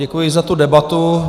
Děkuji za tu debatu.